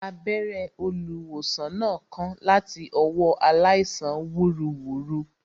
Abẹ́rẹ́ olùwòsàn náà kán láti ọwọ́ aláìsàn wúruwùru